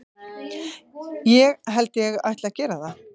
Ég held ég ætli að gera það.